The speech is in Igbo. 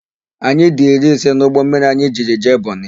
Anyị dị iri ise n'ụgbọmmiri anyị jiri jee Bọnị.